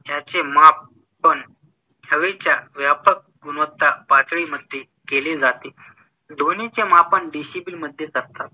ह्याचे मापन हवेच्या व्‍यापक गुणवत्ता पातळीमध्‍ये केले जाते. ध्‍वनिचे मापन डेसिबलमध्‍ये करतात.